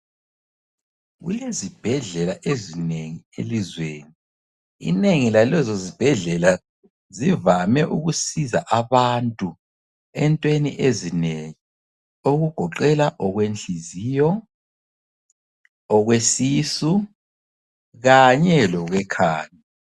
Kulezibhedlela ezinengi elizweni, inengi lalezo zibhedlela zivame ukusiza abantu entweni ezinengi okugoqela okwenhliziyo okwesisu kanye lokwe khanda.